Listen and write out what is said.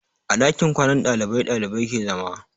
A ɗakin kwanan ɗalibai ɗalibai ke zama.